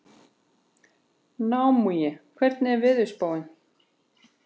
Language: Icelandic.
Naómí, hvernig er veðurspáin?